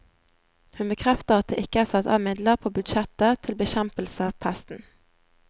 Hun bekrefter at det ikke er satt av midler på budsjettet til bekjempelse av pesten.